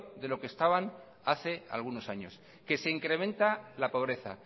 de lo que estaban hace algunos años que se incrementa la pobreza